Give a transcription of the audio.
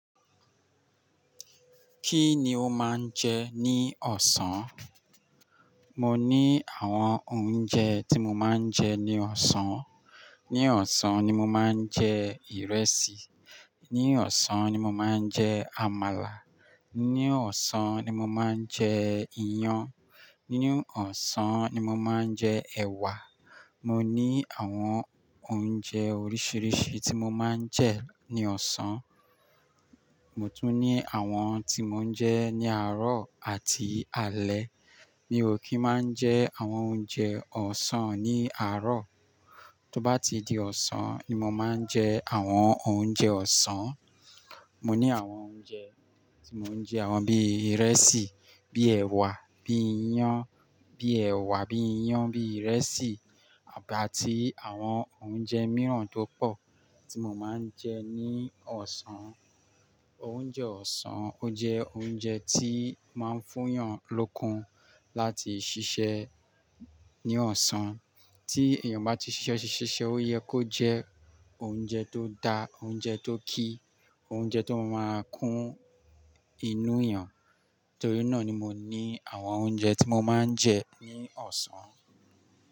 Kí ni o máa ń jẹ ní ọ̀sán? Mo ní àwọn oúnjẹ tí mo máa ń jẹ ní ọ̀sán. Ní ọ̀sán ni mo máa ń jẹ ìrẹsì, ní ọ̀sán ni mo máa ń jẹ àmàlà, ní ọ̀sán ni mo máa ń jẹ iyan, ní ọ̀sán ni mo máa ń jẹ ẹ̀wà. Mo ní àwọn oúnjẹ oríṣiríṣi tí mo máa ń jẹ ní ọ̀sán. Mo tún ní àwọn tí mò ń jẹ ní àárọ̀ àti alẹ́. Mi ò kí máa ń jẹ àwọn oúnjẹ ọ̀sán ní àárọ̀. Tóbá ti di ọ̀sán ni mo máa ń jẹ àwọn oúnjẹ ọ̀sán. Mo ní àwọn oúnjẹ tí mò ń jẹ, àwọn bí ìrẹsì, bí ẹ̀wà, bí iyan, bí ẹ̀wà, bí iyan, bí ìrẹsì àti àwọn oúnjẹ mìíràn tó pọ̀ tí mo máa ń jẹ ní ọ̀sán. Oúnjẹ ọ̀sán ó jẹ oúnjẹ tí máa ń fún èèyàn lókun láti ṣiṣẹ́ ní ọ̀sán. Tí èèyàn bá ti ṣiṣẹ́ ṣiṣẹ́, ó yẹ kó jẹ oúnjẹ tó da, oúnjẹ tó kí, oúnjẹ tó máa kún inú èèyàn. Torí náà ni mo ní àwọn oúnjẹ tí mo máa ń jẹ ní ọ̀sán.